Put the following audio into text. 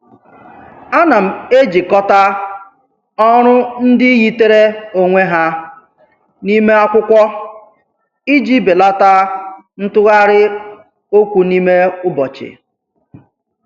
Ana m ejikọta ọrụ ndị yitere onwe ha n'ime akwụkwọ iji belata ntụgharị okwu n'ime ụbọchị.